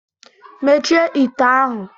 Mechie ite ahụ!